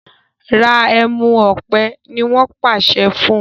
Rà ẹmu òpè! ní wón pàṣẹ fún.